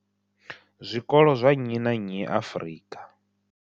zwikolo zwa nnyi na nnyi Afrika.